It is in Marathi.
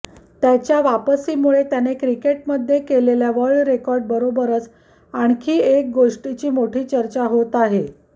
त्याच्या वापरीमुळे त्याने विकेटमध्ये केलेल्या वर्ल्ड रेकॉर्डबरोबरच आणखी एक गोष्टीची मोठी चर्चा होत आहे